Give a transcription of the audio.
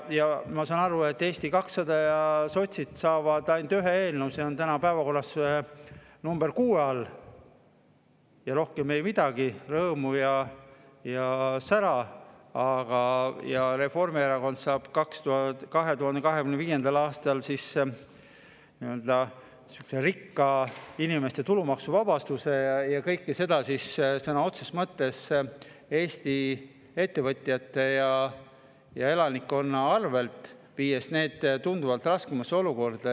Ma saan aru, et Eesti 200 ja sotsid saavad ainult ühe eelnõu, see on täna päevakorras nr 6 all, ja rohkem ei midagi, rõõmu ja sära, aga Reformierakond saab 2025. aastal sihukese rikaste inimeste tulumaksuvabastuse ja kõike seda sõna otseses mõttes Eesti ettevõtjate ja elanikkonna arvel, viies need tunduvalt raskemasse olukorda.